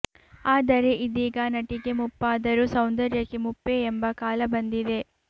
ಆದರೆ ಇದೀಗ ನಟಿಗೆ ಮುಪ್ಪಾದರೂ ಸೌಂದರ್ಯಕ್ಕೆ ಮುಪ್ಪೇ ಎಂಬ ಕಾಲ ಬಂದಿದೆ